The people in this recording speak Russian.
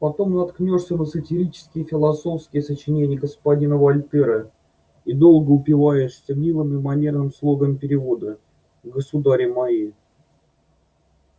потом наткнёшься на сатирические и философские сочинения господина вольтера и долго упиваешься милым и манерным слогом перевода государи мои